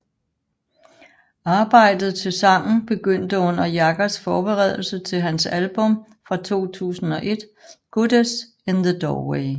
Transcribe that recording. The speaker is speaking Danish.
Arbejdet til sangen begyndte under Jaggers forberedelser til hans album fra 2001 Goddess in the Doorway